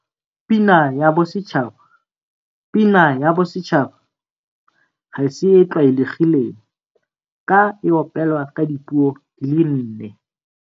Pina ya Bosetšhaba Pina ya Bosetšhaba ga e se e tlwaelegileng ka e opelwa ka dipuo di le nne.